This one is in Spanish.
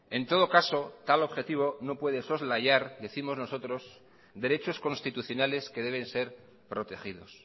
en todo caso tal objetivo no puede soslayar décimos nosotros derechos constitucionales que deben ser protegidos